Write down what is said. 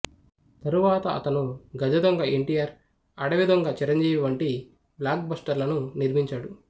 తరువాత అతను గజదొంగ ఎన్టీఆర్ అడవి దొంగ చిరంజీవి వంటి బ్లాక్ బాస్టర్లను నిర్మించాడు